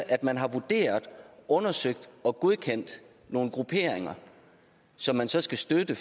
at man har vurderet undersøgt og godkendt nogle grupperinger som man så skal støtte